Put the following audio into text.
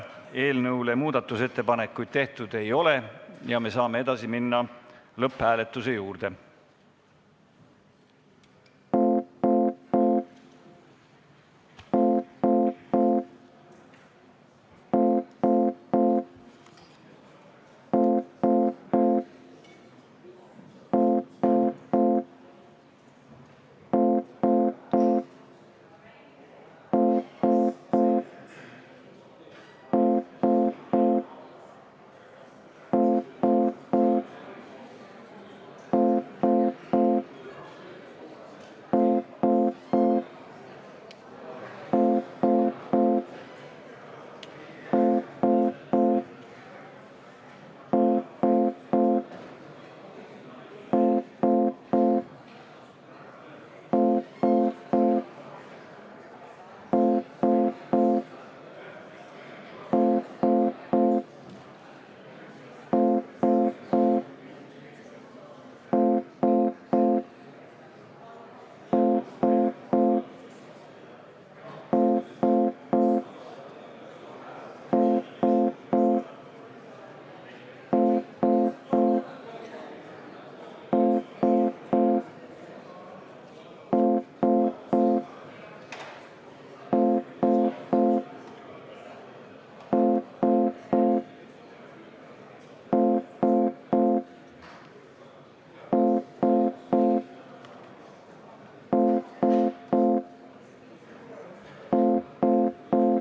Eelnõu kohta muudatusettepanekuid tehtud ei ole ja me saame minna lõpphääletuse juurde.